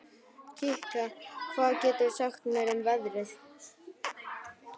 Kikka, hvað geturðu sagt mér um veðrið?